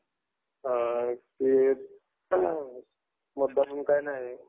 शैक्षणिक कर्ज